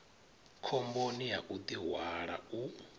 khomboni ya u ḓihwala u